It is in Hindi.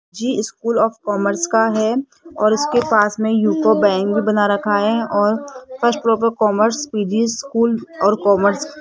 जी स्कूल ऑफ़ कॉमर्स का है और इसके पास में यूको बैंक भी बना रखा है और फर्स्ट फ़्लोर पर कॉमर्स पी_जी स्कूल और कॉमर्स --